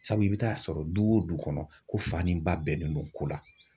Sabu i bɛ taa sɔrɔ du o du kɔnɔ ko fani ba bɛnnen don ko la